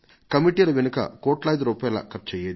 ఈ కమిటీల పై కోట్లాది రూపాయలు ఖర్చయ్యేది